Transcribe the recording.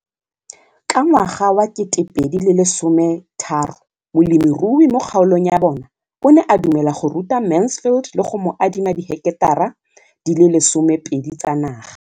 Ka ngwaga wa 2013, molemirui mo kgaolong ya bona o ne a dumela go ruta Mansfield le go mo adima di heketara di le 12 tsa naga.